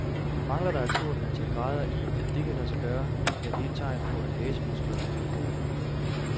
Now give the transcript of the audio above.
Mangler der et stort antal grader i, at det kan lade sig gøre, er det et tegn på, at hasemusklerne er for korte.